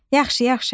Yaxşı, yaxşı.